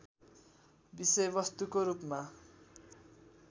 विषयवस्तुको रूपमा